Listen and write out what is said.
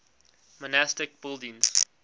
monastic buildings